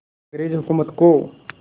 अंग्रेज़ हुकूमत को